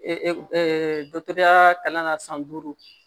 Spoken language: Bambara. dɔ tɔgɔya kalan na san duuru